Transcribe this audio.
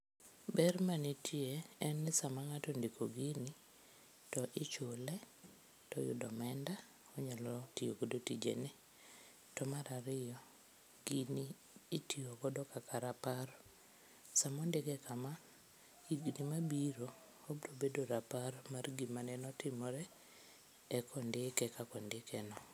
Ber manitie en ni sama ngato ondiko gini to ichule, to oyudo omenda onyalo tiyo go tijene. To mar ariyo, gini itiyo godo kaka rapar, sama ondike kama, higni mabiro obiro bedo rapar mar gima ne otimore eka ondike kaka ondike no